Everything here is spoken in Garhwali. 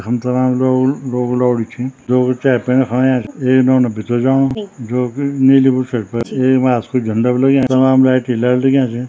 यखम तमाम लोग लोग लौड़ी छी लोग चाय पीणा खुण अयां एक नौना भितर जाणु जोकि नीली बुसेट एक मॉस कु झंडा भी लग्यां तमाम लाइट ही लाइट लग्यां छिन।